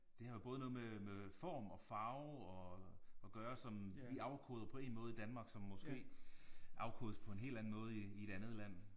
Det har jo både noget med med form og farve og og gøre som vi afkoder på én måde i Danmark som måske afkodes på en helt anden måde i i et andet land